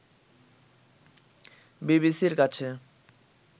বিবিসির কাছে